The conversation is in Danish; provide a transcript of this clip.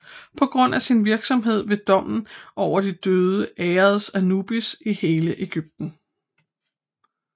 På grund af sin virksomhed ved dommen over de døde æredes Anubis i hele Egypten